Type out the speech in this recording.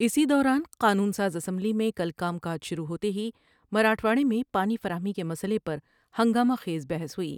اسی دوران قانون ساز اسمبلی میں کل کا م کا ج شروع ہوتے ہی مراٹھواڑے میں پانی فراہمی کے مسئلے پر ہنگامہ خیز بحث ہوئی ۔